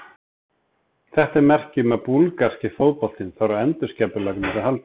Þetta er merki um að búlgarski fótboltinn þarf á endurskipulagningu að halda.